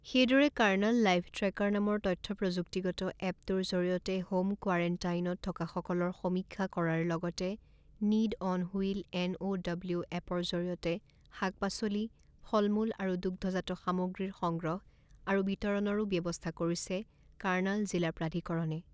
সেইদৰে Karnal live tracker নামৰ তথ্য প্ৰযুক্তিগত এপ টোৰ জৰিয়তে হোম কোৱাৰেণ্টাইনত থকাসকলৰ সমীক্ষা কৰাৰ লগতে need on wheel N O W এপৰ জৰিয়তে শাক পাচলি, ফল মূল আৰু দুগ্ধজাত সামগ্ৰীৰ সংগ্ৰহ আৰু বিতৰণৰো ব্যৱস্থা কৰিছে কাৰ্ণাল জিলা প্ৰাধিকৰণে।